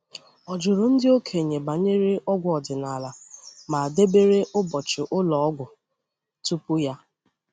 Ọ jụrụ ndị okenye banyere ọgwụ ọdịnala, ma debere ụbọchị ụlọ ọgwụ tupu ya.